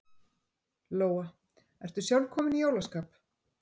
Lóa: Ertu sjálf komin í jólaskap?